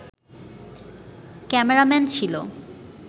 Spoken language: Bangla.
ক্যামেরাম্যান ছিল